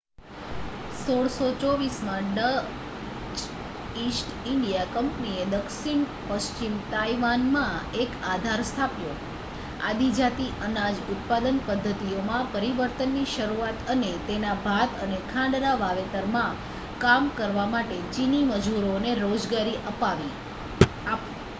1624 માં Dutch East India કંપનીએ દક્ષિણ પશ્ચિમ તાઇવાનમાં એક આધાર સ્થાપ્યો આદિજાતિ અનાજ ઉત્પાદન પદ્ધતિઓમાં પરિવર્તનની શરૂઆત અને તેના ભાત અને ખાંડના વાવેતરમાં કામ કરવા માટે ચિની મજૂરોને રોજગારી આપવી